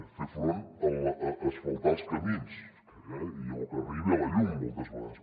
ni per fer front a asfaltar els camins o que arribi la llum moltes vegades